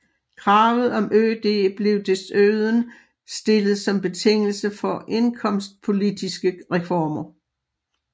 Kravet om ØD blev desuden stillet som betingelse for indkomstpolitiske reformer